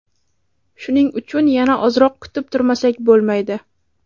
Shuning uchun yana ozroq kutib turmasak bo‘lmaydi.